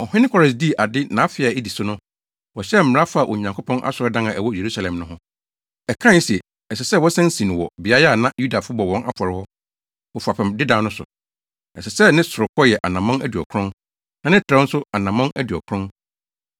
Ɔhene Kores dii ade nʼafe a edi so no, wɔhyɛɛ mmara faa Onyankopɔn asɔredan a ɛwɔ Yerusalem no ho. Ɛkae se ɛsɛ sɛ wɔsan si no wɔ beae a na Yudafo bɔ wɔn afɔre hɔ, wɔ fapem dedaw no so. Ɛsɛ sɛ ne sorokɔ yɛ anammɔn aduɔkron, na ne trɛw nso anammɔn aduɔkron.